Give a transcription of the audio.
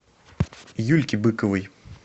юльке быковой